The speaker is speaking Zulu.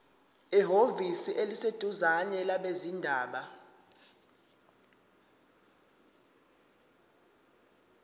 ehhovisi eliseduzane labezindaba